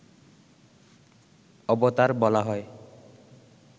অবতার বলা হয়